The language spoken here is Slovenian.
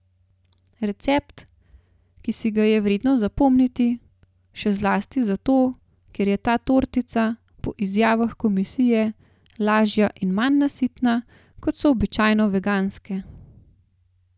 Recept, ki si ga je vredno zapomniti, še zlasti zato, ker je ta tortica, po izjavah komisije, lažja in manj nasitna, kot so običajno veganske.